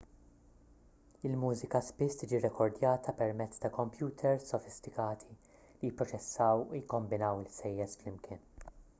il-mużika spiss tiġi rrekordjata permezz ta' kompjuters sofistikati li jipproċessaw u jikkombinaw il-ħsejjes flimkien